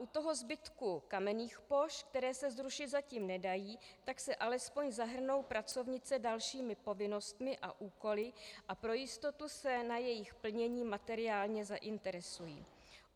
U toho zbytku kamenných pošt, které se zrušit zatím nedají, tak se alespoň zahrnou pracovnice dalšími povinnostmi a úkoly a pro jistotu se na jejich plnění materiálně zainteresují.